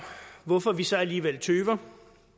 hvorfor vi så alligevel tøver